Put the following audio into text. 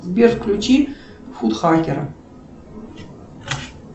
сбер включи футхакера